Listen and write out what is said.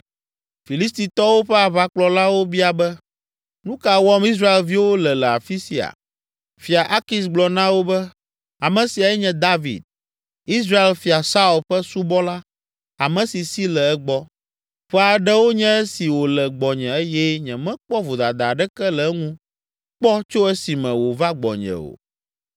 Filistitɔwo ƒe aʋakplɔlawo bia be, “Nu ka wɔm Israelviwo le le afi sia?” Fia Akis gblɔ na wo be, “Ame siae nye David, Israel fia Saul ƒe subɔla ame si si le egbɔ. Ƒe aɖewo nye esi wòle gbɔnye eye nyemekpɔ vodada aɖeke le eŋu kpɔ tso esime wòva gbɔnye o.”